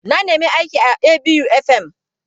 Na nemi aiki a ABU FM.